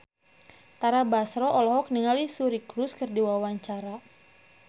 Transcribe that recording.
Tara Basro olohok ningali Suri Cruise keur diwawancara